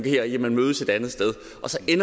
er jo